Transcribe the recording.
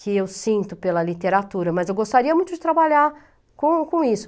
que eu sinto pela literatura, mas eu gostaria muito de trabalhar com com isso.